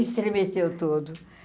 Estremeceu todo.